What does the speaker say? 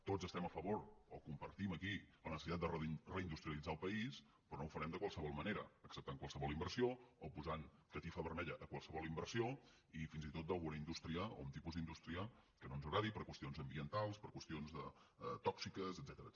tots estem a favor o compartim aquí la necessitat de reindustrialitzar el país però no ho fa·rem de qualsevol manera acceptant qualsevol inversió o posant catifa vermella a qualsevol inversió i fins i tot d’alguna indústria o d’un tipus d’indústria que no ens agradi per qüestions ambientals per qüestions tò·xiques etcètera